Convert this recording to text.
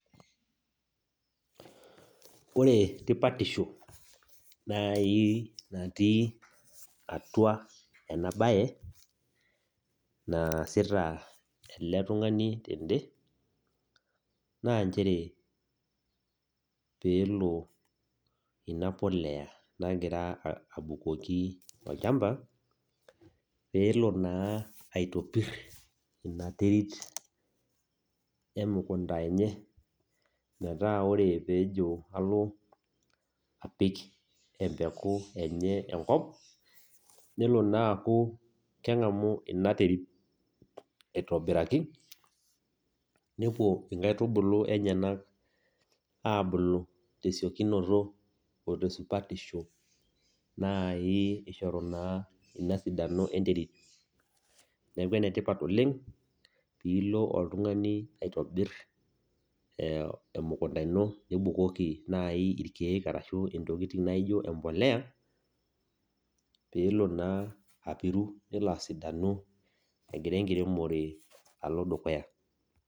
Ore tipatisho naai natii atua ena baye naasita ele tung'ani tende naa peelo inapolea naai nang'ira abukoki olchamba peelo aitopir ina terit emukunda enye paa metaa ore peejo alo apik empeku enye enkop naa eng'amu ina terit aitobiraki nepuo inkaitubulu enyenak aabulu tesiekunoto oo tesupatiso naai ishoru naa inasidano enterit neaku enetipat oleng' piilo oltungani aitobir emukunda ino nibukokii naai irkeek arashu entoki nijo embolea peelo naaji apiru nelo asidanu egira enkiremore alo dukuya.